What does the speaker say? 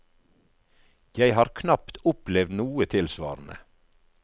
Jeg har knapt opplevd noe tilsvarende.